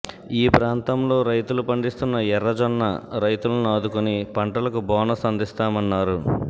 ఈ ప్రాంతంలోని రైతులు పండిస్తున్న ఎర్రజొన్న రైతులను ఆదుకొని పంటలకు బోనస్ అందిస్తామన్నారు